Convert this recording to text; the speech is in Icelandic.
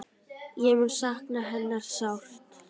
Ég mun sakna hennar sárt.